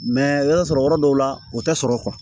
yɔrɔ sɔrɔ yɔrɔ dɔw la o tɛ sɔrɔ